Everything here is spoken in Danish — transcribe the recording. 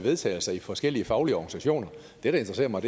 vedtagelser i forskellige faglige organisationer det der interesserer mig